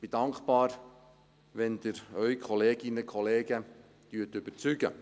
Ich bin dankbar, wenn Sie Ihre Kolleginnen und Kollegen überzeugen.